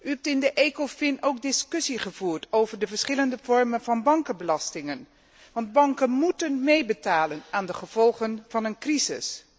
U hebt in de Ecofin ook discussie gevoerd over de verschillende vormen van bankenbelastingen, want banken moeten meebetalen aan de gevolgen van een crisis.